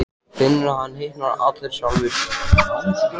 Finnur að hann hitnar allur sjálfur.